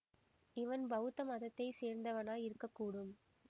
இவன் பௌத்த மதத்தை சேர்ந்தவனாய் இருக்க கூடும்